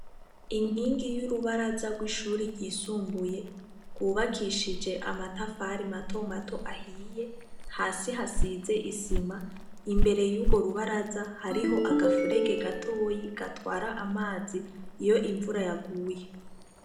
Inkingi y'urubaraza rw'ishuri ryisumbuye rwubakishije amatafari mato mato ahiye hasi hasize isima imbere y'uro rubaraza hariho agafurege gatoyi gatwara amazi iyo imvura yaguye.